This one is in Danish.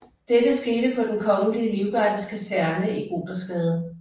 Dette skete på Den Kongelige Livgardes Kaserne i Gothersgade